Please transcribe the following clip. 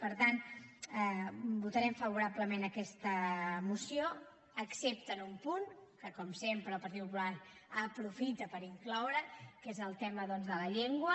per tant votarem favorablement aquesta moció excepte en un punt que com sempre el partit popular aprofita per incloure’l que és el tema doncs de la llengua